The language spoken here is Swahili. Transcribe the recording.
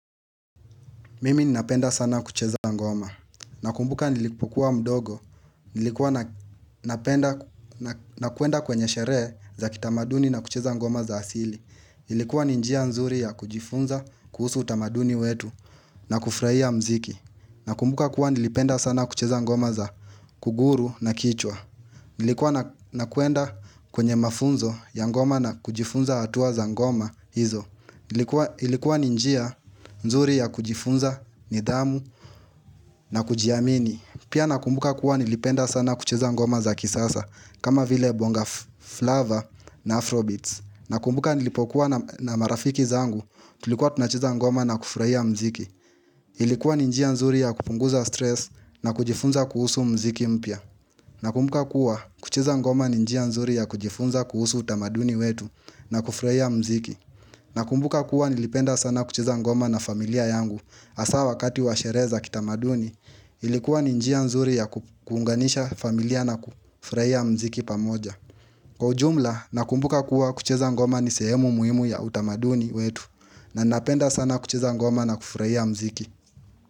Mimi nina penda sana kucheza ngoma. Nakumbuka nilipokua mdogo, nilikuwa nakuenda kwenye shere za kitamaduni na kucheza ngoma za asili. Nilikuwa ninjia nzuri ya kujifunza kuhusu utamaduni wetu na kufraia mziki. Nakumbuka kuwa nilipenda sana kucheza ngoma za kuguru na kichwa. Nilikuwa nakuenda kwenye mafunzo ya ngoma na kujifunza atuwa za ngoma hizo. Ilikuwa ninjia nzuri ya kujifunza, nidamu na kujiamini Pia nakumbuka kuwa nilipenda sana kuchiza ngoma za kisasa kama vile bongaflava na afrobeats Nakumbuka nilipokuwa na marafiki zangu Tulikuwa tunacheza ngoma na kufraia mziki Ilikuwa ninjia nzuri ya kupunguza stress na kujifunza kuhusu mziki mpia Nakumbuka kuwa kucheza ngoma ninjia nzuri ya kujifunza kuhusu utamaduni wetu na kufraia mziki na kumbuka kuwa nilipenda sana kucheza ngoma na familia yangu asa wakati washere za kitamaduni ilikuwa ninjia nzuri ya kukuunganisha familia na kufraia mziki pamoja. Kwa ujumla na kumbuka kuwa kucheza ngoma ni sehemu muhimu ya utamaduni wetu na napenda sana kucheza ngoma na kufraia mziki.